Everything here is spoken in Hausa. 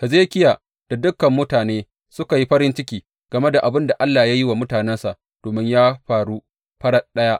Hezekiya da dukan mutane suka yi farin ciki game da abin da Allah ya yi wa mutanensa, domin ya faru farat ɗaya.